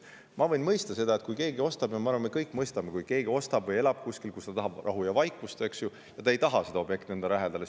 Ma võin mõista seda – ja ma arvan, et me kõik mõistame seda –, et kui inimene elab kuskil, kus ta tahab rahu ja vaikust, eks ju, siis ta ei taha suurt objekti enda lähedale.